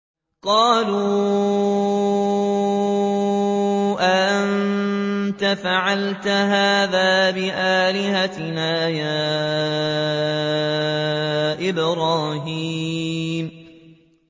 قَالُوا أَأَنتَ فَعَلْتَ هَٰذَا بِآلِهَتِنَا يَا إِبْرَاهِيمُ